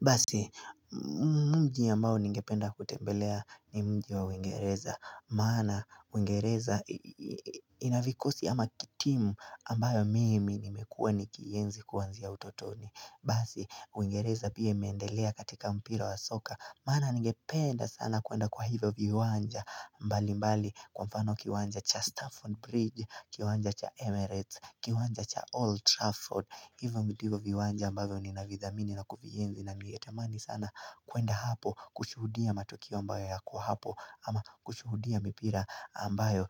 Basi, muji ambao ningependa kutembelea ni muji wa uingereza, maana uingereza ina vikosi ama timu ambayo mimi nimekuwa nikienzi kuanzia utotoni. Basi uingereza pia imendelea katika mpira wa soka Mana ningependa sana kuenda kwa hizo viwanja mbali mbali kwa mfano kiwanja cha Stafford Bridge Kiwanja cha Emirates Kiwanja cha Old Trafford Hivyo ndivyo viwanja ambavyo ninavidhamini na kuvienzi na mietemani sana kuenda hapo kushuhudia matukio ambayo yako hapo ama kushuhudia mpira ambayo